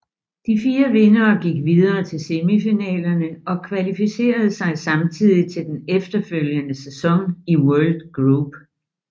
De fire vindere gik videre til semifinalerne og kvalificerede sig samtidig til den efterfølgende sæson i World Group